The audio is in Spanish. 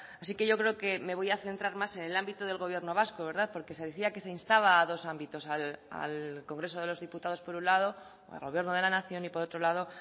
así que yo creo que me voy a centrar más en el ámbito del gobierno vasco porque se decía que se instaba a dos ámbitos al congreso de los diputados por un lado al gobierno de la nación y por otro lado